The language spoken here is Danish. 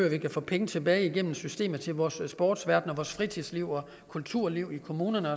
at vi får penge tilbage gennem systemet til vores sportsverden og vores fritidsliv og kulturliv i kommunerne